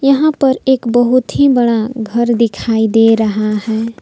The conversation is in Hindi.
यहां पर एक बहुत ही बड़ा घर दिखाई दे रहा है।